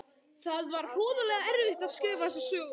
Það var hroðalega erfitt að skrifa þessa sögu.